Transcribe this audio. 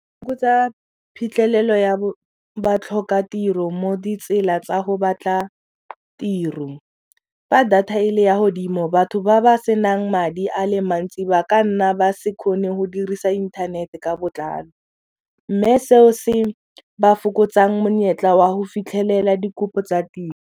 Ko tsa phitlhelelo ya batlhokatiro mo ditsela tsa go batla tiro, fa data e le ya godimo batho ba senang madi a le mantsi ba ka nna ba se kgone go dirisa inthanete ka botlalo mme seo se ba fokotsang monyetla wa go fitlhelela dikopo tsa tiro.